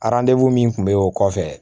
min kun be o kɔfɛ